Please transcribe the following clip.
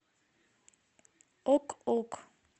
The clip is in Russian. ок ок